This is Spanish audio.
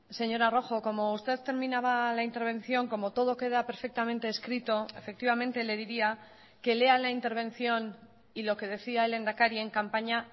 señora rojo como usted terminaba la intervención como todo queda perfectamente escrito efectivamente le diría que lea la intervención y lo que decía el lehendakari en campaña